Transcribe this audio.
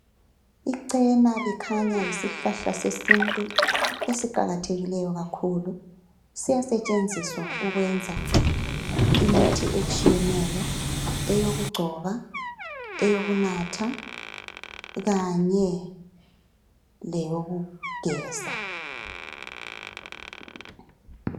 ichena likhanya yisihlahla sesintu esiqakathekileyo kakhulu siyasetshenziswa ukwenza imithi etshiyeneyo eyokugcoba eyokunatha kanye leyokugeza